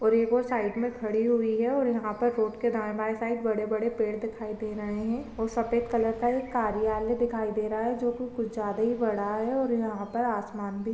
और एक और साइड में खड़ी हुई है और यहाँ पर रोड के दाए-बाए साइड बड़े-बड़े पेड़ दिखाई दे रहे है और सफेद कलर का एक कार्यालय दिखाई दे रहा है जो की कुछ ज्यादा ही बड़ा है और यहाँ पर आसमान भी--